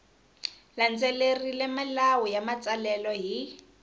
landzelerile milawu ya matsalelo hi